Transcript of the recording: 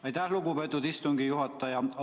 Aitäh, lugupeetud istungi juhataja!